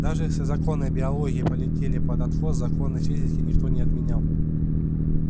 даже если законы биологии полетели под откос законы физики никто не отменял